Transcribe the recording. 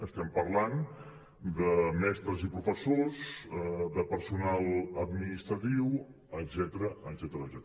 estem parlant de mestres i professors de personal administratiu etcètera